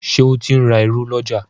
Ṣe o tin rá ìrù l'ọja?